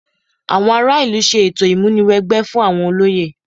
Àwọn ará ìlú ṣe ètò ìmúni wẹgbẹ́ fún àwọn olóyè